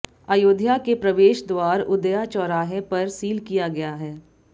अयोध्या के प्रवेश द्वार उदया चौराहे पर सील किया गया है